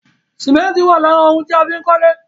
Sìmẹ́ntì wà lára òun tí a fín kólé